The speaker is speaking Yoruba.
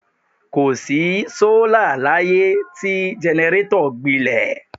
Kò sí sọ́là láyé tí jẹnẹrétọ̀ gbilẹ̀.